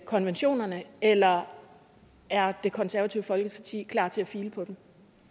konventionerne eller er det konservative folkeparti klar til at file på dem